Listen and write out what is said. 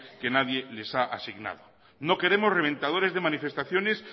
que nadie les ha asignado no queremos reventadores de manifestaciones